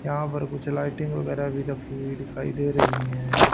यहां पर कुछ लाइटिंग वगैरा भी रखी हुई दिखाई दे रही हैं।